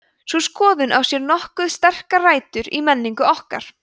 sú skoðun á sér nokkuð sterkar rætur í menningu okkar